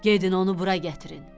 Gedin onu bura gətirin.